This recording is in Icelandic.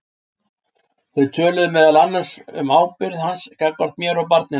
Þau töluðu meðal annars um ábyrgð hans gagnvart mér og barninu.